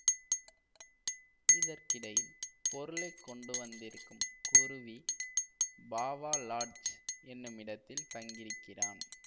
இதற்கிடையில் பொருளை கொண்டு வந்திருக்கும் குருவி பாவா லாட்ஜ் என்னுமிடத்தில் தங்கி இருக்கிறான்